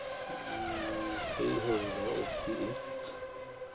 trehundraåttioett